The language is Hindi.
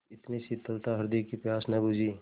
इतनी शीतलता हृदय की प्यास न बुझी